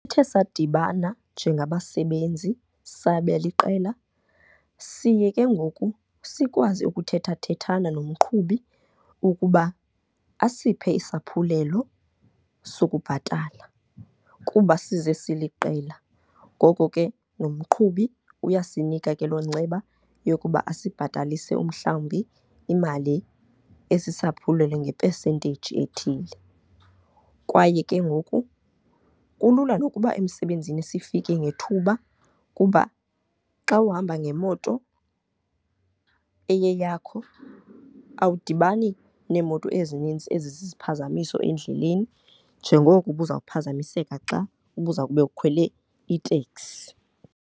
Ethe sadibana njengabasebenzi sabeliqela siye ke ngoku sikwazi ukuthethathethana nomqhubi ukuba asiphe isaphulelo sokubhatala kuba size siliqela. Ngoko ke nomqhubi uyasinika ke loo nceba yokuba asibhatalise umhlawumbi imali esisaphulelo nge-percentage ethile. Kwaye ke ngoku kulula nokuba emsebenzini sifike ngethuba kuba xa uhamba ngemoto eyeyakho awudibani neemoto ezinintsi ezizisiphazamiso endleleni njengoko ubuzawuphazamiseka xa ubuzawube ukhwele iteksi.